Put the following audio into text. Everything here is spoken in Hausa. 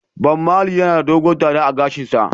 Bob marley yana da doguwar dada a gashin kansa.